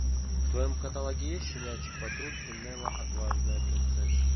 в твоем каталоге есть щенячий патруль и нелла отважная принцесса